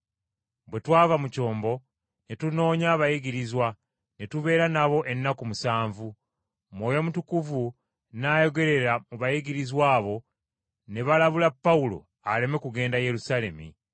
Bwe twava mu kyombo ne tunoonya abayigirizwa ne tubeera nabo ennaku musanvu. Mwoyo Mutukuvu n’ayogerera mu bayigirizwa abo ne balabula Pawulo aleme kugenda Yerusaalemi.